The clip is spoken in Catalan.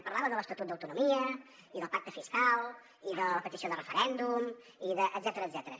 parlava de l’estatut d’autonomia i del pacte fiscal i de la petició de referèndum i d’etcètera